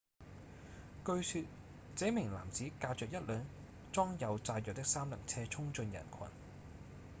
據說這名男子駕著一輛裝有炸藥的三輪車衝進人群